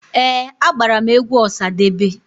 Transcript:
Ee, agbara m egwu Ọsadebe.